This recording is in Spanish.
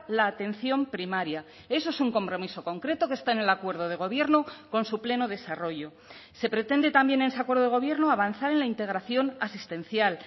la atención primaria eso es un compromiso concreto que está en el acuerdo de gobierno con su pleno desarrollo se pretende también en ese acuerdo de gobierno avanzar en la integración asistencial